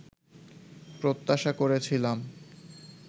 প্রত্যাশা করেছিলাম